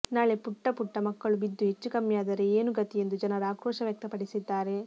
ನಾಳೆ ಪುಟ್ಟ ಪುಟ್ಟ ಮಕ್ಕಳು ಬಿದ್ದು ಹೆಚ್ಚುಕಮ್ಮಿಯಾದರೆ ಏನು ಗತಿ ಎಂದು ಜನರು ಆಕ್ರೋಶ ವ್ಯಕ್ತಪಡಿಸಿದ್ದಾರೆ